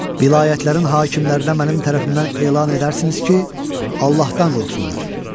Vilayətlərin hakimlərinə mənim tərəfimdən elan edərsiniz ki, Allahdan qorxsunlar.